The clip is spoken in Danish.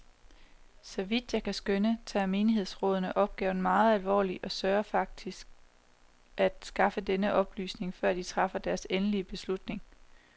Så vidt jeg kan skønne, tager menighedsrådene opgaven meget alvorligt og søger faktisk at skaffe sig denne oplysning, før de træffer deres endelige beslutninger.